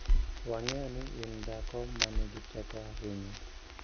Wang'eyo ni in dhako ma nigi teko ahinya.